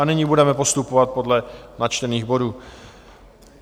A nyní budeme postupovat podle načtených bodů.